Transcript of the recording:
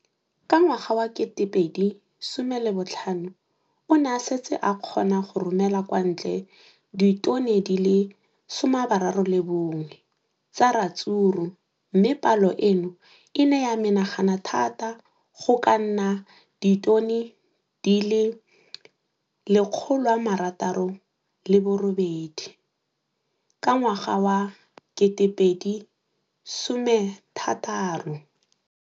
Ka ngwaga wa 2015, o ne a setse a kgona go romela kwa ntle ditone di le 31 tsa ratsuru mme palo eno e ne ya menagana thata go ka nna ditone di le 168 ka ngwaga wa 2016.